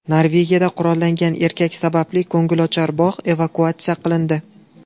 Norvegiyada qurollangan erkak sababli ko‘ngilochar bog‘ evakuatsiya qilindi.